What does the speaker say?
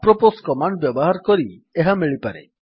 apropos command ବ୍ୟବହାର କରି ଏହା ମିଳିପାରେ